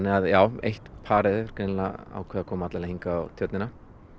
að eitt parið hefur greinilega ákveðið að koma alla leið hingað á Tjörnina